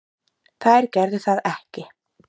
Þær gerðu það ekki.